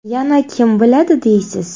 Yana kim biladi deysiz.